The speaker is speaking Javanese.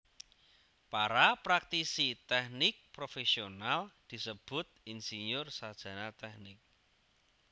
Para praktisi tèknik profèsional disebut insinyur sarjana tèknik